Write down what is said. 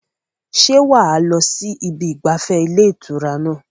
ṣé wà á lọ sí ibi ìgbafẹ́ ilé ìtura náà?